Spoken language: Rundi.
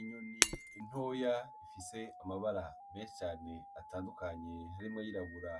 Inyoni ntoya ifise amabara menshi cane atandukanye harimwo ayirabura,